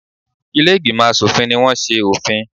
Ilé-ìgbìmọ̀ aṣòfin ní wọ́n ṣe òfin.